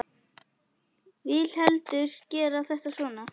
Vil heldur gera þetta svona.